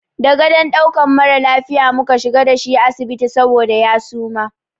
Da gadon ɗaukan mara lafiya mu ka shiga da shi asibiti saboda ya suma.